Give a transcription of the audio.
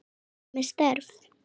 Hvað með störf?